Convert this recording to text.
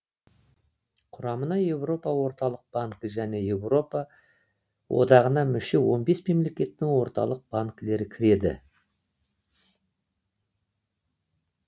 құрамына еуропа орталық банкі және еуропа одағына мүше он бес мемлекеттің орталық банкілері кіреді